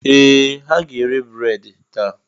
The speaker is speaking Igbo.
Ee! Ha ga-ere breedị taa.